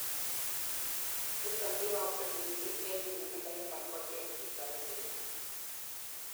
niton koyooksei missing en nyumnyumindo yebal kochek chito netinyei